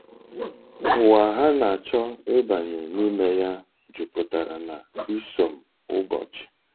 Ụwa ha na-achọ ịbanye n’ime ya juputara na isom ụbọchi.